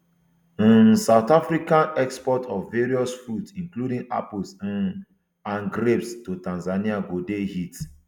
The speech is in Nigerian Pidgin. um south african exports of various fruits including apples um and grapes to tanzania go dey hit